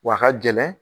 W'a ka gɛlɛn